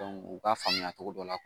u ka faamuya cogo dɔ la